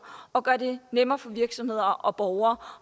og gøre det nemmere for virksomheder og borgere